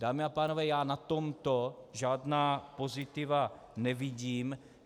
Dámy a pánové, já na tomto žádná pozitiva nevidím.